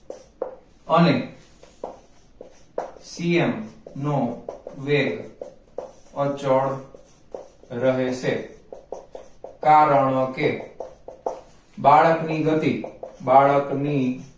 અને c m નો વેગ અચળ રહેશે કારણ કે બાળક ની ગતિ બાળક ની